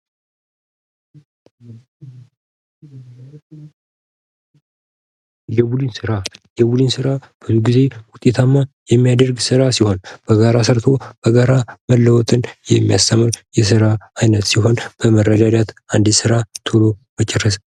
የቡድን ስራ የቡድን ስራ ጊዜ ውጤታማ የሚያደርግ ስራ ሲሆን በጋራ ሰርቶ በጋራ መለወጥን የሚያስተምር ስራ አይነት ሲሆን መረዳዳት አንድን ስራ በቶሎ መጨረስ